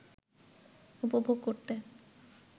উপভোগ করতে